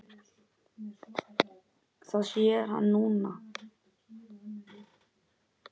Það sér hann núna.